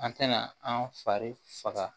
An tɛna an fari faga